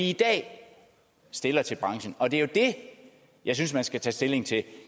i dag stiller til branchen og det er jo det jeg synes man skal tage stilling til